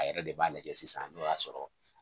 A yɛrɛ de b'a lajɛ sisan n'o y'a sɔrɔ.